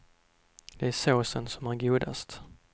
Det är såsen som är godast.